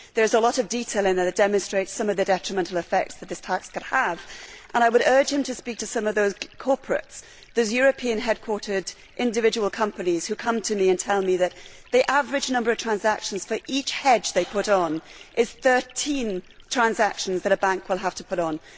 There is a lot of detail in there that demonstrates some of the detrimental effects that this tax could have, and I would urge him to speak to some of those corporates, those European headquartered individual companies, who come to me and tell me that the average number of transactions for each hedge they put on means 13 transactions that a bank will have to put on.